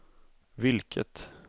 vilket